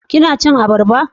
kina cin abarba?